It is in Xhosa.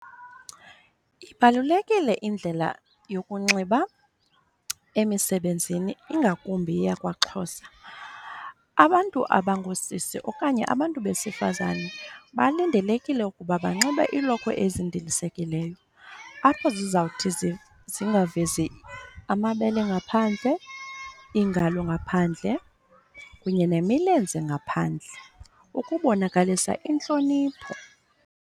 Ibalulekile indlela yokunxiba emisebenzini ingakumbi eyakwaXhosa. Abantu abangoosisi okanye abantu besifazane balindelekile ukuba banxibe iilokhwe ezindilisekileyo, apho zizawuthi zingavezi amabele ngaphandle, iingalo ngaphandle, kunye nemilenze ngaphandle ukubonakalisa intlonipho.